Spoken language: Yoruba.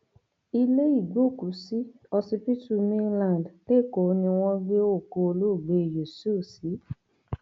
ilé ìgbókùúsí ọsibítù mainland lẹkọọ ni wọn gbé òkú olóògbé yusuf sí